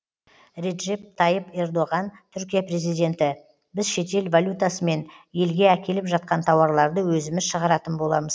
реджеп тайып ердоған түркия президенті біз шетел валютасымен елге әкеліп жатқан тауарларды өзіміз шығаратын боламыз